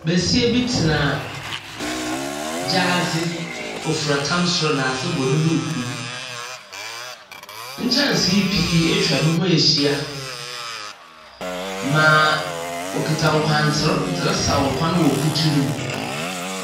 Besia bi tena gyaadze, ɔfura tam soro na ase bɔ ne dukuu. Nkyɛnsee pii atwa ne ho ahyia maa ɔkuta nkwanter dze resaw nkwan wɔ kutu no mu.